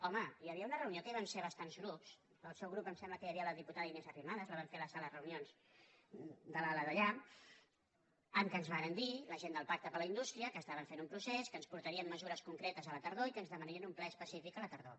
home hi havia una reunió que hi vam ser bastants grups del seu grup em sembla que hi havia la diputada inés arrimadas la vam fer a la sala de reunions de l’ala d’allà en què ens varen dir la gent del pacte per a la indústria que estaven fent un procés que ens portarien mesures concretes a la tardor i que ens demanarien un ple específic a la tardor